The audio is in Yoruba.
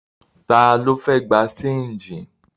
Ta ló fẹ́ gbé ṣéńjì?